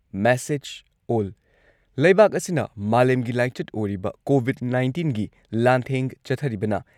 message ꯑꯣꯜ ꯂꯩꯕꯥꯛ ꯑꯁꯤꯅ ꯃꯥꯂꯦꯝꯒꯤ ꯂꯥꯏꯆꯠ ꯑꯣꯏꯔꯤꯕ ꯀꯣꯚꯤꯗ ꯅꯥꯏꯟꯇꯤꯟꯒꯤ ꯂꯥꯟꯊꯦꯡ ꯆꯠꯊꯔꯤꯕꯅ